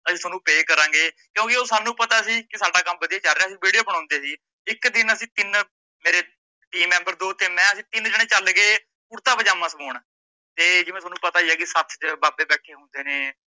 ਅਸੀਂ ਤੁਹਾਨੂੰ pay ਕਰਾਂਗੇ। ਕਿਉਕਿ ਓਹ ਸਾਨੂੰ ਪਤਾ ਸੀ, ਕਿ ਸਾਡਾ ਕੰਮ ਵਧੀਆ ਚੱਲ ਰੀਆ ਸੀ, ਅਸੀਂ video ਬਣਾਉਂਦੇ ਸੀ, ਇੱਕ ਦਿਨ ਅਸੀਂ ਤੀਨ ਮੇਰੇ team member ਦੋ ਤੇ ਮੈ ਅਸੀਂ ਤੀਨ ਜੇਣੇ ਚੱਲ ਗਏ ਕੁਰਤਾ ਪਜਾਮਾਂ ਸਿਮੋਣ ਤੇ ਜਿਵੇਂ ਤੁਹਾਨੂੰ ਪਤਾ ਹੀ ਆ ਕੀ ਸੱਥ ਚ ਬਾਬੇ ਬੈਠੇ ਹੁੰਦੇ ਨੇ,